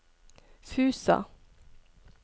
Fusa